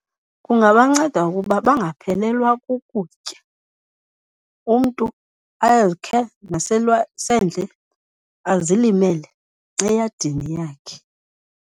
Kungabanceda ukuba bangaphelelwa kukutya, umntu azilimele eyadini yakhe.